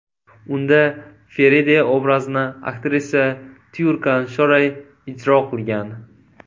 Unda Feride obrazini aktrisa Tyurkan Shoray ijro qilgan.